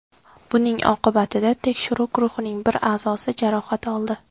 Buning oqibatida tekshiruv guruhining bir a’zosi jarohat oldi.